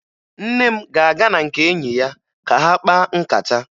Nne m ga-aga na nke enyi ya ka ha kpaa nkata